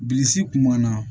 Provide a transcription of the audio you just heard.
Bilisi kun m'an na